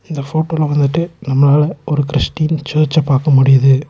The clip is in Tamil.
இந்த போட்டோல வந்துட்டு நம்மளால ஒரு கிறிஸ்டின் சர்ச்ச பாக்க முடியிது.